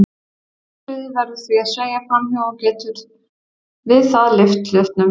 Segulsviðið verður því að sveigja fram hjá og getur við það lyft hlutnum.